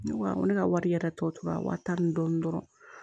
Ne ko awɔ ne ka wari yɛrɛ tɔ tora wari taa ni dɔɔnin dɔrɔn